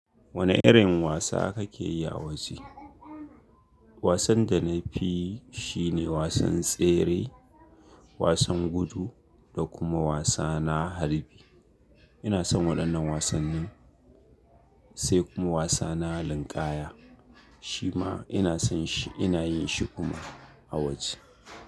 Wane irin wasa kake yi a waje? Wasan da nafiyi shine wasan tsere, wasan gudu da kuma wasa na harbi. Ina son waɗannan wasannin, sai kuma wasa na linƙaya. Shima ina sonshi, ina yinshi kuma a waje.